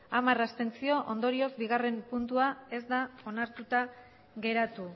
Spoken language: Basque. hamar abstentzio ondorioz bigarrena puntua ez da onartuta geratu